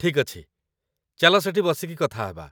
ଠିକ୍ ଅଛି ! ଚାଲ ସେଠି ବସିକି କଥା ହେବା